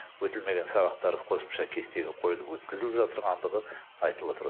өтілмеген сабақтар қосымша кестеге қойылып өткізіліп жатырғандығы айтылватыр